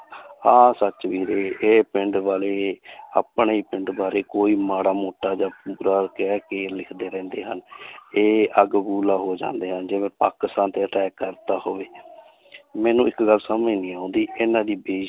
ਆਹ ਸੱਚ ਵੀਰੇ ਇਹ ਪਿੰਡ ਵਾਲੇ ਆਪਣੇ ਪਿੰਡ ਬਾਰੇ ਕੋਈ ਮਾੜਾ ਮੋਟਾ ਜਾਂ ਬੁਰਾ ਕਹਿ ਕੇ ਲਿਖਦੇ ਰਹਿੰਦੇ ਹਨ ਇਹ ਅੱਗ ਭਬੂਲਾ ਹੋ ਜਾਂਦੇ ਹਨ ਜਿਵੇਂ ਪਾਕਿਸਤਾਨ ਤੇ attack ਕਰ ਦਿੱਤਾ ਹੋਵੇ ਮੈਨੂੰ ਇੱਕ ਗੱਲ ਸਮਝ ਨਹੀਂ ਆਉਂਦੀ ਇਹਨਾਂ ਦੀ ਬੇ~